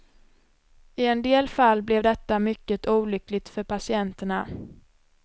I en del fall blev detta mycket olyckligt för patienterna.